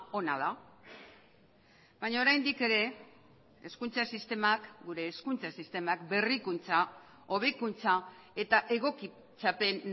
ona da baina oraindik ere hezkuntza sistemak gure hezkuntza sistemak berrikuntza hobekuntza eta egokitzapen